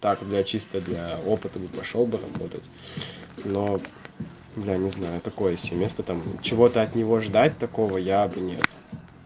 так для чисто для опытов и пошёл бы работать бля не знаю такое себе место там чего-то от него ждать такого я бы нет